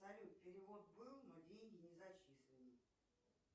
салют перевод был но деньги не зачислены